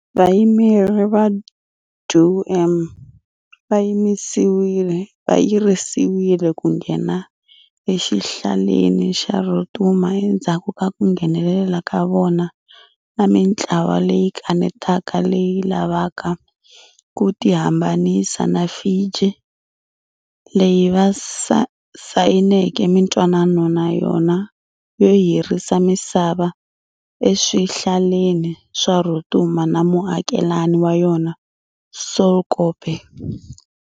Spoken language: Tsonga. Vayimeri va DoM va yirisiwile ku nghena exihlaleni xa Rotuma endzhaku ka ku nghenelela ka vona na mintlawa leyi kanetaka leyi lavaka ku tihambanisa na Fiji, leyi va sayineke mintwanano na yona yo hirhisa misava eswihlaleni swa Rotuma na muakelani wa yona Solkope.